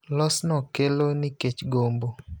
Losno kelo nikech gombo.